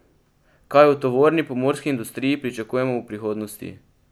Kaj v tovorni pomorski industriji pričakujemo v prihodnosti?